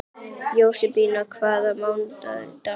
Jósebína, hvaða mánaðardagur er í dag?